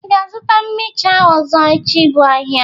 Ị ga-azụta mhịcha ọzọ echi bụ ahịa?